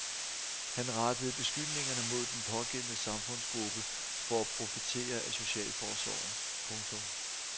Han rettede beskyldningerne mod den pågældende samfundsgruppe for at profitere af socialforsorgen. punktum